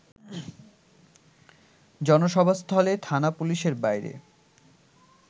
জনসভাস্থলে থানা পুলিশের বাইরে